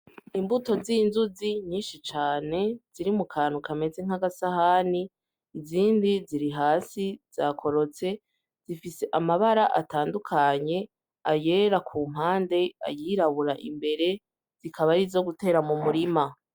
Imbuto z'inzuzi nyinshi cane, ziri mu kantu kameze nk'agasahani, izindi ziri hasi zakorotse. Zifise amabara atandukanye, ayera ku mpande, ayirabura imbere, zikaba arizo gutera mu murima.